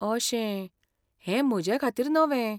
अशें, हें म्हजे खातीर नवें.